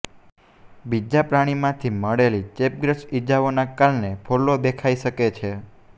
બીજા પ્રાણીમાંથી મળેલી ચેપગ્રસ્ત ઇજાઓના કારણે ફોલ્લો દેખાઈ શકે છે